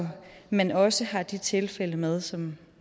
man også har de tilfælde med som